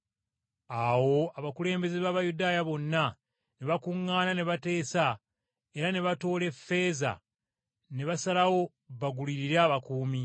Awo abakulembeze b’Abayudaaya bonna ne bakuŋŋaana ne bateesa era ne batoola ffeeza na basalawo bagulirire abakuumi.